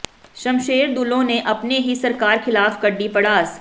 ਸ਼ਮਸ਼ੇਰ ਦੂਲੋਂ ਨੇ ਆਪਣੀ ਹੀ ਸਰਕਾਰ ਖਿਲਾਫ ਕੱਢੀ ਭੜਾਸ